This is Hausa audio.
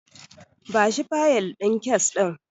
Bashi fayil din kes ɗin.